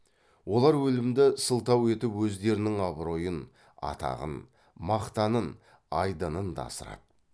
олар өлімді сылтау етіп өздерінің абыройын атағын мақтанын айдынын да асырады